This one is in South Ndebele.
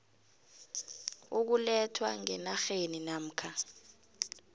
ukulethwa ngenarheni namkha